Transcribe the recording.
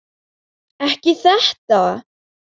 Ekki þetta!